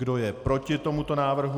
Kdo je proti tomuto návrhu?